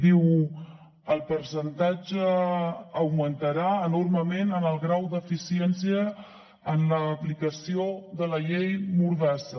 diu el percentatge augmentarà enormement en el grau d’eficiència en l’aplicació de la llei mordassa